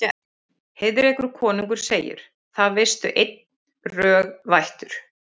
Heiðrekur konungur segir: Það veistu einn, rög vættur